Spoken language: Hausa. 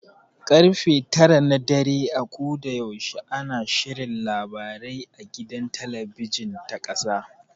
Karfe tara na dare a koda yaushe ana shirin labarai a gidan talabijin ta ƙasa.